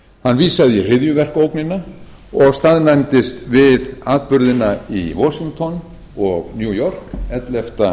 hann vísaði í hryðjuverkaógnina og staðnæmdist við atburðina í washington og new york ellefta